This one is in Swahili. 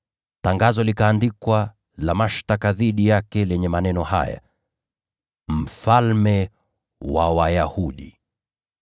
Tangazo likaandikwa la mashtaka dhidi yake lenye maneno haya: “ Mfalme wa Wayahudi .”